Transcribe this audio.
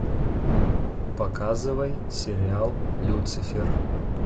показывай сериал люцифер